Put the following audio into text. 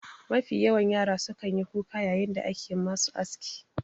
Mafi yawan yara sukan yi kuka yayin da ake musu aski.